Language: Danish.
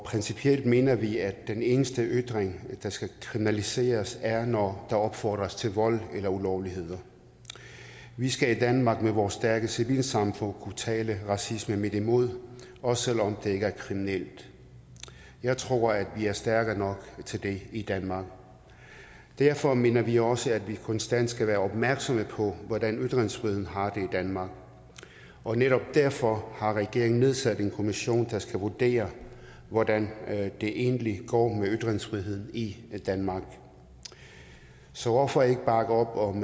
principielt mener vi at den eneste ytring der skal kriminaliseres er når der opfordres til vold eller ulovligheder vi skal i danmark med vores stærke civilsamfund kunne tale racismen midt imod også selv om det ikke er kriminelt jeg tror at vi er stærke nok til det i danmark derfor mener vi også at vi konstant skal være opmærksomme på hvordan ytringsfriheden har det i danmark og netop derfor har regeringen nedsat en kommission der skal vurdere hvordan det egentlig går med ytringsfriheden i danmark så hvorfor ikke bakke op om